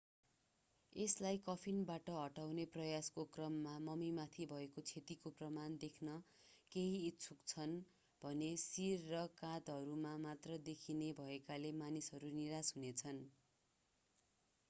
यसलाई कफिनबाट हटाउने प्रयासको क्रममा मम्मीमाथि भएको क्षतिको प्रमाण देख्न कोही इच्छुक छन् भने शिर र काँधहरू मात्र देखिने भएकाले मानिसहरू निराश हुनेछन्